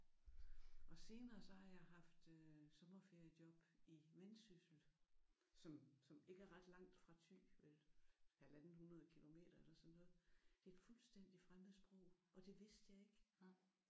Og senere så har jeg haft øh sommerferiejob i Vendsyssel som som ikke er ret langt fra Thy 150 km eller sådan noget. Det er et fuldstændigt fremmed sprog og det vidste jeg ikke